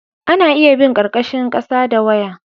ana iya bin karkashin kasa da waya